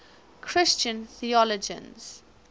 christian theologians